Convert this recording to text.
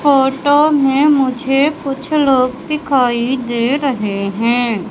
Photo में मुझे कुछ लोग दिखाई दे रहे हैं।